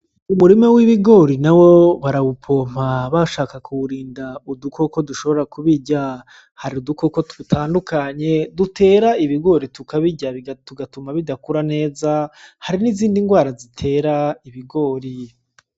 Umurima w'ibigori nawo barawupompa bashaka kuwurinda udukoko dushobora kubirya hari udukoko dutandukanye dutera ibigori tukabirya tugatuma bidakura neza hari nizindi ngwara zitera ibigori.